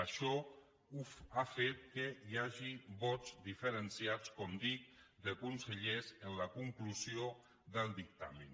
això ha fet que hi hagi vots diferenciats com dic de consellers en la conclusió del dictamen